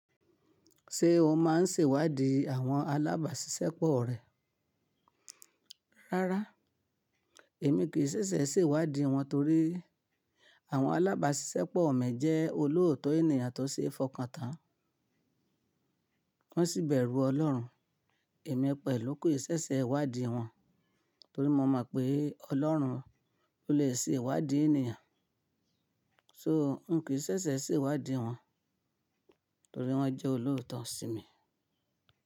Ṣé o máa ń sèwádìí àwọn alábàṣiṣẹ́ pọ̀ rẹ? Rárá, èmi kì í sẹ̀sẹ̀ ṣèwádìí wọn torí àwọn alábàṣiṣẹ́ pọ̀ mi jẹ́ olóòótọ́ ènìyàn tó ṣeé fọkàntán, wọ́n sì bẹ̀rù Ọlọ́run. Èmi pẹ̀lú kò í ṣẹ̀ṣẹ̀ wádìí wọn torí mo mọ̀ pé Ọlọ́run ló lè sèwádìí ènìyàn. So n kì í sẹ̀sẹ̀ sèwádìí wọn torí wọ́n jẹ́ olòótọ́ sí mi.